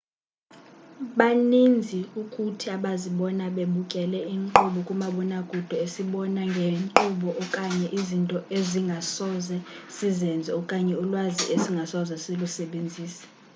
baninzi kuthi abazibona bebukele inkqubo kamabonakude esibonisa ngeenkqubo okanye izinto esingasoze sizenze okanye ulwazi esingasoze silusebenzise